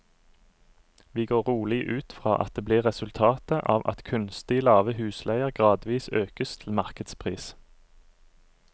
Vi går rolig ut fra at det blir resultatet av at kunstig lave husleier gradvis økes til markedspris.